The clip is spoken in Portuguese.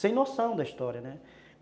sem noção da história, né?